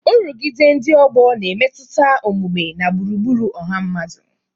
Nrụgide ndị ọgbọ na-emetụta omume na gburugburu ọha mmadụ.